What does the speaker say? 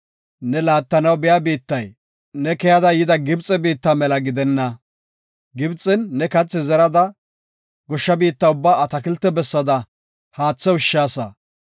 Ne laattanaw biya biittay, ne keyada yida Gibxe biitta mela gidenna. Gibxen ne kathi zerada, goshsha biitta ubbaa atakilte bessada haathe ushshaasa.